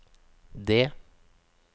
D